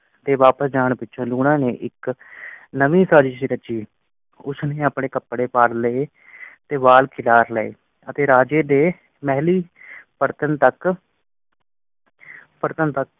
ਤੇ ਵਾਪਸ ਜਾਣ ਪਿਛੋਂ ਲੂਣਾ ਨੇ ਨਵੀਂ ਸਾਜਿਸ ਰੱਚੀ। ਉਸ ਨੇ ਆਪਣੇ ਕੱਪੜੇ ਪਾੜ ਲਏ ਤੇ ਵਾਲ ਖਿਲਾਰ ਲਏ ਅਤੇ ਰਾਜੇ ਦੇ ਮਹਿਲ ਤਕ